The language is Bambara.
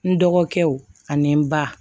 N dɔgɔkɛw ani n ba